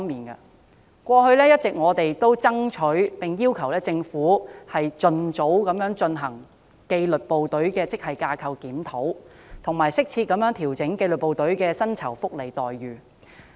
我們過去一直爭取及要求政府盡早進行紀律部隊職系架構檢討，以及適切調整紀律部隊的薪酬福利待遇。